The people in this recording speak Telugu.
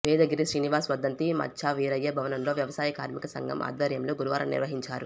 వేదగిరి శ్రీనివాస్ వర్ధంతి మచ్చా వీరయ్య భవనంలో వ్యవసాయ కార్మిక సంఘం ఆధ్వర్యంలో గురువారం నిర్వహించారు